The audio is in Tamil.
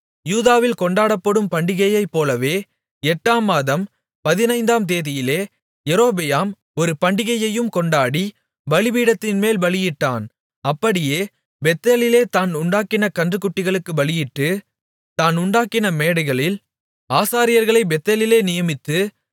யூதாவில் கொண்டாடப்படும் பண்டிகையைப்போலவே எட்டாம் மாதம் பதினைந்தாம் தேதியிலே யெரொபெயாம் ஒரு பண்டிகையையும் கொண்டாடி பலிபீடத்தின்மேல் பலியிட்டான் அப்படியே பெத்தேலிலே தான் உண்டாக்கின கன்றுக்குட்டிகளுக்குப் பலியிட்டு தான் உண்டாக்கின மேடைகளில் ஆசாரியர்களைப் பெத்தேலிலே நியமித்து